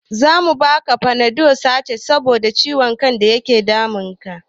Zamu bata fanadol tasha saboda ciwon kan da ya dame ta